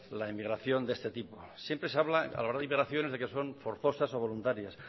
la emigración de este tipo siempre se habla a la hora de de que son forzosas o voluntarias